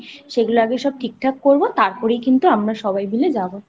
সেগুলো আগে সব ঠিকঠাক করবো তারপরেই কিন্তু আমরা সবাই মিলে যাবো।